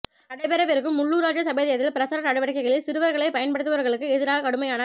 நடைபெறவிருக்கும் உள்ளுாராட்சி சபை தேர்தல் பிரசார நடவடிக்கைகளில் சிறுவர்களை பயன்படுத்துபவர்களுக்கு எதிராக கடுமையான